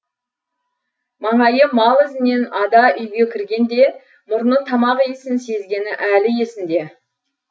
маңайы мал ізінен ада үйге кіргенде мұрны тамақ иісін сезгені әлі есінде